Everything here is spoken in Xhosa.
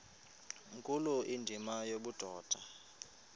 nkulu indima yobudoda